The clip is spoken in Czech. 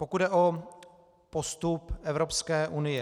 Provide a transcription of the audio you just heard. Pokud jde o postup Evropské unie.